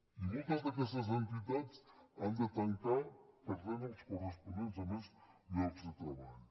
i moltes d’aquestes entitats han de tancar i perden els corresponents a més llocs de treball